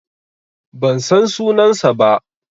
Ban san sunansa ba.